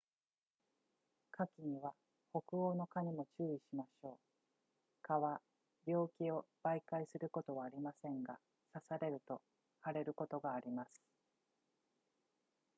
夏季には北欧の蚊にも注意しましょう蚊は病気を媒介することはありませんが刺されると腫れることがあります